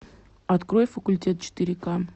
открой факультет четыре ка